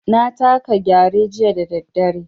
Na taka Gyare jiya da daddare.